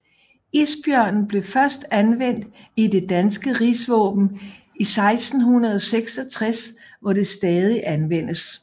Isbjørnen blev først anvendt i det danske rigsvåben i 1666 hvor det stadig anvendes